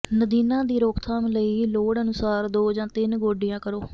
ਨਦੀਨਾਂ ਦੀ ਰੋਕਥਾਮ ਲਈ ਲੋੜ ਅਨੁਸਾਰ ਦੋ ਜਾਂ ਤਿੰਨ ਗੋਡੀਆਂ ਕਰੋ